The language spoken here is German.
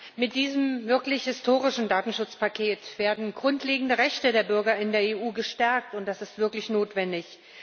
Frau Präsidentin! Mit diesem wirklich historischen Datenschutzpaket werden grundlegende Rechte der Bürger in der EU gestärkt, und das ist wirklich notwendig.